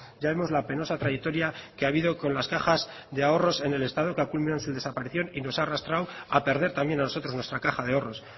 ya vemos la penosa trayectoria que ha habido con las cajas de ahorros en el estado que ha culminado en su desaparición y nos ha arrastrado a perder también a nosotros nuestra caja de ahorros